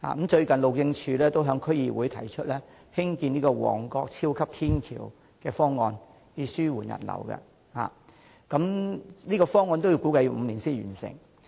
最近，路政署也在區議會提出在旺角興建超級天橋的方案，以紓緩人流，但這個方案估計需時5年才可完成。